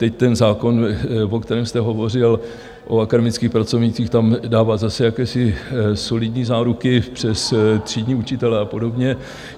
Teď ten zákon, o kterém jste hovořil, o akademických pracovnících, tam dává zase jakési solidní záruky přes třídní učitele a podobně.